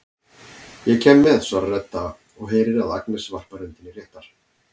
Ég kem með, svarar Edda og heyrir að Agnes varpar öndinni léttar.